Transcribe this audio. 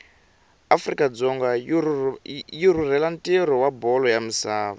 afrika dzonga yirhurhela ntiro wabholo yamisava